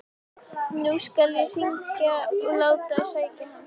Nú skal ég hringja og láta sækja hann.